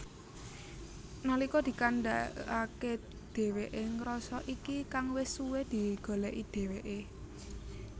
Nalika dikandhakake dheweke ngrasa iki kang wis suwe digoleki dheweke